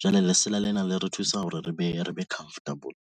jwale lesela lena le re thusa hore re be re be comfortable.